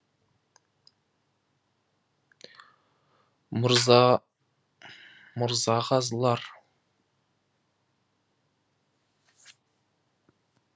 мырза мырзағазылар